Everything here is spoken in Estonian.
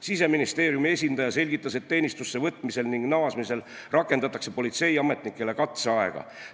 Siseministeeriumi esindaja selgitas, et teenistusse võtmisel ja naasmisel rakendatakse politseiametnikele katseaega.